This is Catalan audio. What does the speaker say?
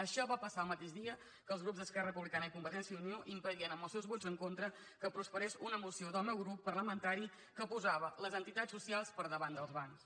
això va passar el mateix dia que els grups d’esquerra republicana i convergència i unió impedien amb els seus vots en contra que prosperés una moció del meu grup parlamentari que posava les entitats socials per davant dels bancs